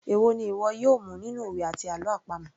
Èwo ni ìwọ yóò mu nínú òwe àti àlọ́ àpamọ̀